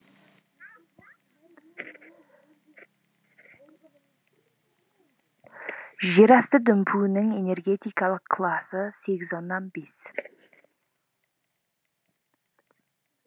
жер асты дүмпуінің энергетикалық класы сегіз оннан бес